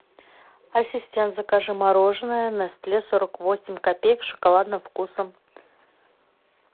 ассистент закажи мороженое нестле сорок восемь копеек с шоколадным вкусом